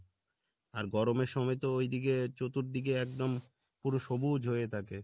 আর গরমের সময় তো ঐদিকে চতুর্দিকে একদম পুরো সবুজ হয়ে থাকে